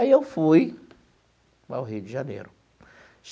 Aí eu fui para o Rio de Janeiro.